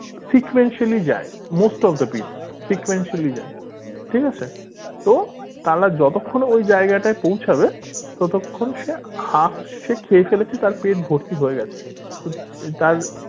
sequentially যায় most of the people sequentially যায় ঠিক আছে তো তাহলে যতক্ষণে ওই জায়গাটায় পৌঁছাবে ততক্ষন সে half সে খেয়ে ফেলেছে তার পেট ভরতি হয়ে গেছে তার